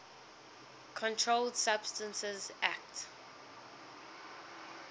controlled substances acte